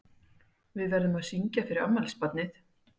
Við verðum að syngja fyrir afmælisbarnið.